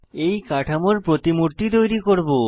এই কাঠামোর প্রতিমূর্তি তৈরী করব